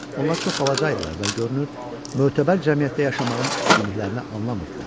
Onlar çox balaca idilər və görünür, mötəbər cəmiyyətdə yaşamağın üstünlüklərini anlamırdılar.